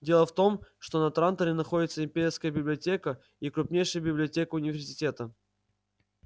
дело в том что на транторе находятся имперская библиотека и крупнейшая библиотека университета